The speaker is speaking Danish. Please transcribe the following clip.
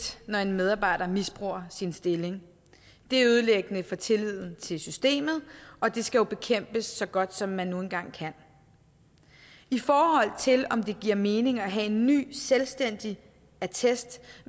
når en medarbejder misbruger sin stilling det er ødelæggende for tilliden til systemet og det skal bekæmpes så godt som man nu engang kan i forhold til om det giver mening at have en ny selvstændig attest